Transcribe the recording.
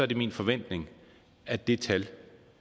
det min forventning at det tal